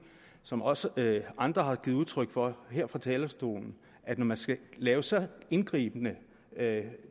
som også andre har givet udtryk for her fra talerstolen at når man skal lave så indgribende